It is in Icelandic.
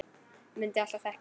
Mundi alltaf þekkja hann.